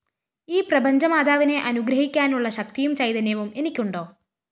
ഈ പ്രപഞ്ചമാതാവിനെ അനുഗ്രഹിക്കാനുള്ള ശക്തിയും ചൈതന്യവും എനിക്കുണ്ടോ